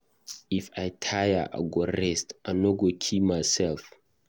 If I tire I go rest, I no go come kill myself.